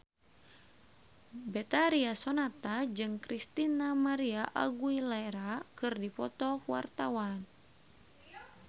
Betharia Sonata jeung Christina María Aguilera keur dipoto ku wartawan